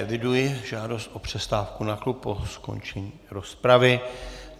Eviduji žádost o přestávku na klub po skončení rozpravy.